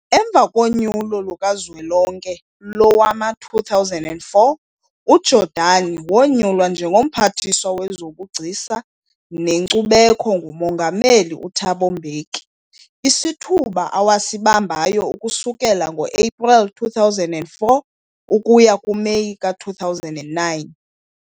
Emva konyulo lukaZwelonke lowama-2004, uJordani wonyulwa njengo-Mphathiswa wezobuGcisa neNkcubeko nguMongameli uThabo Mbeki, isithuba awasibambayo ukusukela ngo-Epreli 2004 ukuya kuMeyi ka-2009.